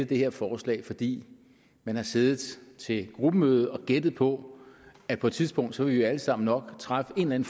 det her forslag fordi man har siddet til et gruppemøde og gættet på at på et tidspunkt vil vi alle sammen nok træffe en